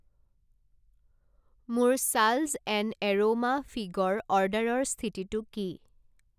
মোৰ ছাল্জ and aroma figure অৰ্ডাৰৰ স্থিতিটো কি?